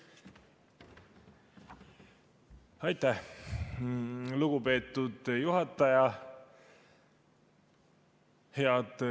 Aitäh, lugupeetud juhataja!